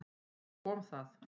Svo kom það.